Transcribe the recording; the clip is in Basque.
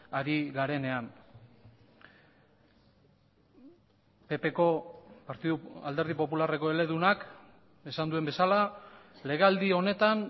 ari garenean ppko alderdi popularreko eledunak esan duen bezala legealdi honetan